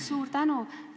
Suur tänu!